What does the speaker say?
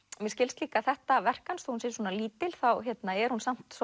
mér skilst líka að þetta verk hans þó hún sé svona lítil þá er hún samt